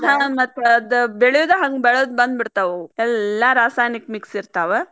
ಬೆಳಿಯುದ್ ಹಂಗ ಬೆಳದ್ ಬಂದ್ಬಿಡ್ತಾವ ಎಲ್ಲಾ ರಾಸಾಯನಿಕ mix ಇರ್ತಾವ.